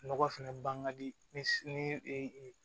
Nɔgɔ fɛnɛ ban ka di ni